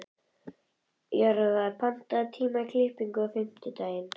Jörvar, pantaðu tíma í klippingu á fimmtudaginn.